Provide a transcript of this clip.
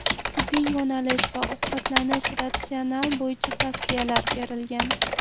Tibbiy yo‘nalish va ovqatlanish ratsioni bo‘yicha tavsiyalar berilgan.